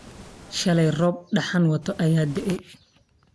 Shaleyto roob dhaxan waato aya da'ay.